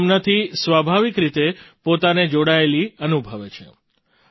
તેઓ તેમનાથી સ્વાભાવિક રીતે પોતાને જોડાયેલી અનુભવે છે